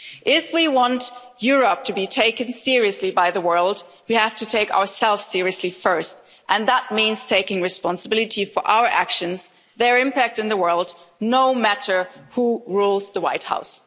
If we want Europe to be taken seriously by the world, we have to take ourselves seriously first, and that means taking responsibility for our actions and their impact in the world, no matter who rules the White House.